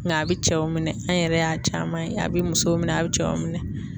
Nka a bi cɛw minɛ, an yɛrɛ y'a caman ye, a bi musow minɛ, a bi cɛw minɛ.